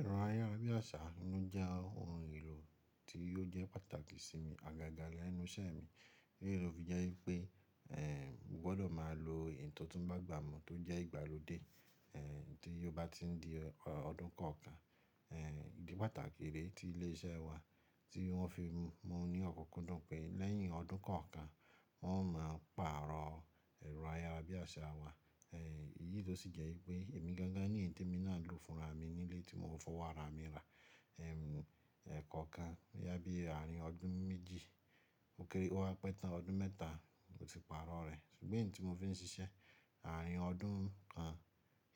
Ẹ̀rọ ayárabíàṣá inú jẹ́ ohun èlò tí yóò jẹ́ pàtàkì sí mi àgàgà lẹ́nu iṣẹ́ mi. Élé lo fi jẹ́ wípé, mo gbọ́dọ̀ máa lo eyi to tún bágbàmù tó jẹ́ ìgbàlódé, tí yóò bá ti di ọdún kan ọ̀kan. Idi pàtàkì rẹ́ tí ilé iṣẹ́ wa tí wọ́n fi mú ní ọ̀kunkundun tán pé lẹ́yìn ọdún kan ọ̀kan wọ́n máa pàrọ̀ ẹ̀rọ ayárabíàṣá wa. Èyí ló sì jẹ́ wípé èmi gangan ní èyí tí mo ná lò fúnra mi nílé tí mo fọwọ́ ra mi ra. Ẹ̀kọ̀ kan boyá bí ààrin ọdún méjì ó kéré ó wá pẹ́ tán ọdún mẹ́ta mó ti pàrọ̀ rẹ̀. Ṣùgbọ́n èyí tí mo fi ń ṣiṣẹ́ ààrin ọdún kan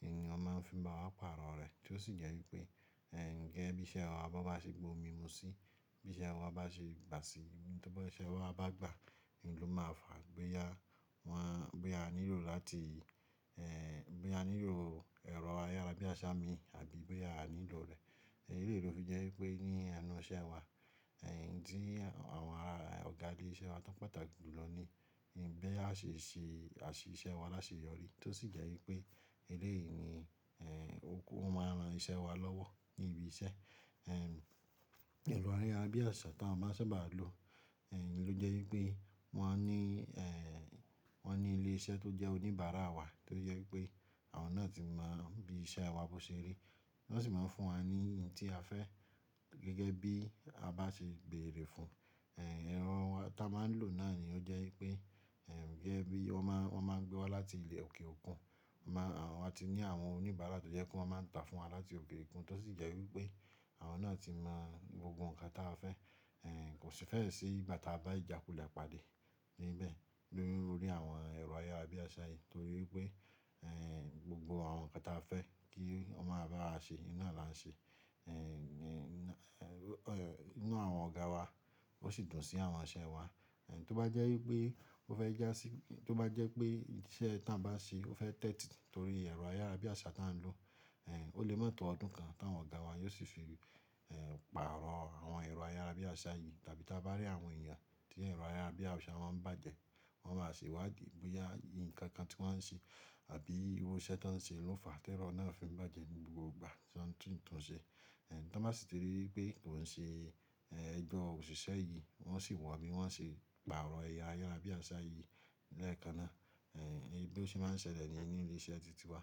èèyàn máa ń fi máa wá pàrọ̀ rẹ̀ tí ó sì jẹ́ wípé, ehn gẹ́gẹ́ bí iṣẹ́ wa bá ṣe gbo mi mú sí, bí iṣẹ́ wa bá ṣe gba sí, bí iṣẹ́ wa bá gba, ló máa fà bóyá wọ́n, bóyá a nílò láti, ehn bóyá a nílò ẹ̀rọ ayárabíàṣá mi àbí bóyá a nílò rẹ̀. Èyí lè ló fi jẹ́ wípé ní ẹnu iṣẹ́ wa, tí àwọn ọ̀gá ilé iṣẹ́ wa tó pátàkì lò ní bí a ṣe ṣe àṣìṣẹ́ wa láṣe yọrí tí ó sì jẹ́ wípé eléyìí ni, ó máa ran iṣẹ́ wa lọ́wọ́ ní ibi iṣẹ́. Ẹ̀rọ ayárabíàṣá tí a máa sábà lo, ló jẹ́ wípé wọ́n ní, wọ́n ní ilé iṣẹ́ tó jẹ́ oníbàárà wa tó jẹ́ wípé àwọn náà ti mọ bí iṣẹ́ wa bó ṣe rí, wọ́n sì máa ń fún wa ní ohun tí a fẹ́ gẹ́gẹ́ bí a bá ṣe bèrè fún. Ẹ̀rọ tí a máa ń lò náà ni ó jẹ́ wípé, gẹ́gẹ́ bí wọ́n máa, wọ́n máa gbé wá láti ilẹ̀ òkè òkun. Wọ́n máa, àwọn ti ní àwọn oníbàárà tó jẹ́ kó máa ń tà fún wa láti òbè òkun tó sì jẹ́ wípé àwọn náà ti mọ gbogbo ohun kan tí a fẹ́. Kò sì fẹ́ ṣí bàtà bá ìjákulẹ̀ pàdé níbẹ̀ lórí àwọn ẹ̀rọ ayárabíàṣá yìí torí pé, gbogbo àwọn nǹkan tí a fẹ́ kí wọ́n máa bá wa ṣe, ná là ń ṣe. Inu àwọn ọ̀gá wa ó sì dùn sí àwọn iṣẹ́ wa. Tó bá jẹ́ wípé ó fẹ́ já sí, tó bá jẹ́ pé iṣẹ́ tí wọ́n bá ṣe ó fẹ́ tẹ́tì torí ẹ̀rọ ayárabíàṣá tí wọ́n ń lò, ó lè má tọ́ ọdún kan tí àwọn ọ̀gá wa yóò sì fi, pàrọ̀ àwọn ẹ̀rọ ayárabíàṣá yìí tàbí tá bá rí àwọn èèyàn tí ẹ̀rọ ayárabíàṣá máa ń bàjẹ́, wọ́n máa sì wá dì bóyá nǹkan kan tí wọ́n ń ṣe àbí irú iṣẹ́ tí wọ́n ń ṣe ló fà á tí ẹ̀rọ náà fi ń bàjẹ́ gbogbo ìgbà tí wọ́n tún ń ṣe. Tá bá sì ti rí wípé kò ń ṣe, ehn ẹjọ́ òṣìṣẹ́ yìí wọ́n sì wá bí wọ́n ṣe pàrọ̀ ẹ̀rọ ayárabíàṣá yìí lẹ́ẹ̀kan náà. Èyí ló sì máa ń ṣẹlẹ̀ ní ẹnu ilé iṣẹ́ títí wá.